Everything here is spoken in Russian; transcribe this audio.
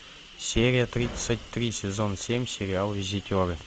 серия тридцать три сезон семь сериал визитеры